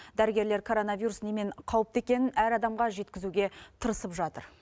дәрігерлер коронавирус немен қауіпті екенін әр адамға жеткізуге тырысып жатыр